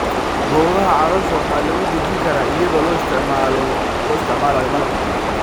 Boogaha caloosha waxaa lagu dejin karaa iyadoo la isticmaalayo malab.